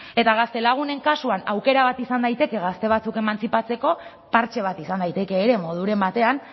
eta gaztelagunen kasuan aukera bat izan daiteke gazte batzuk emantzipatzeko partxe bat izan daiteke ere moduren batean